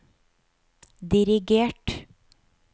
dirigert